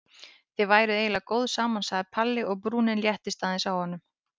Þið væruð eiginlega góð saman sagði Palli og brúnin léttist aðeins á honum.